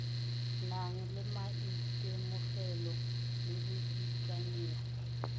nang le maitemogelo le boikanyego